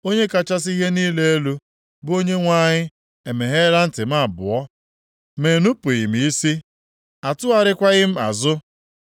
Onye kachasị ihe niile elu, bụ Onyenwe anyị emeghela ntị m abụọ, ma enupughị m isi, a tụgharịkwaghị m azụ.